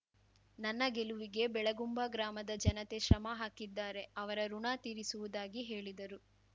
ನನ್ನ ಗೆಲುವಿಗೆ ಬೆಳಗುಂಬ ಗ್ರಾಮದ ಜನತೆ ಶ್ರಮ ಹಾಕಿದ್ದಾರೆ ಅವರ ಋಣ ತೀರಿಸುವುದಾಗಿ ಹೇಳಿದರು